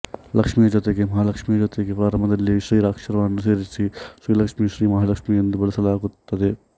ಲಕ್ಷ್ಮಿಯ ಜೊತೆಗೆ ಮಹಾಲಕ್ಷ್ಮಿಯ ಜೊತೆಗೆ ಪ್ರಾರಂಭದಲ್ಲಿ ಶ್ರೀ ಅಕ್ಷರವನ್ನು ಸೇರಿಸಿ ಶ್ರೀ ಲಕ್ಷ್ಮಿ ಶ್ರೀ ಮಹಾಲಕ್ಷ್ಮಿ ಎಂದೂ ಬಳಸಲಾಗುತ್ತದೆ